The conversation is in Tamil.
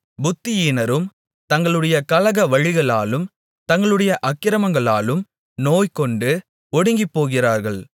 புத்தியீனரும் தங்களுடைய கலக வழிகளாலும் தங்களுடைய அக்கிரமங்களாலும் நோய்கொண்டு ஒடுங்கிப்போகிறார்கள்